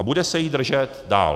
A bude se jich držet dál.